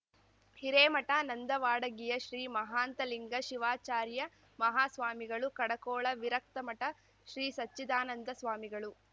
ಹಿರೇಮಠ ನಂದವಾಡಗಿಯ ಶ್ರೀ ಮಾಹಾಂತಲಿಂಗ ಶಿವಾಚಾರ್ಯಮಾಹಾಸ್ವಾಮಿಗಳು ಕಡಕೋಳ ವಿರಕ್ತಮಠ ಶ್ರೀಸಚ್ಚಿದಾನಂದ ಸ್ವಾಮಿಗಳು